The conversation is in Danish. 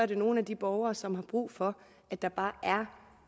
det nogle af de borgere som har brug for at der bare er